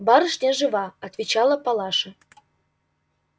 барышня жива отвечала палаша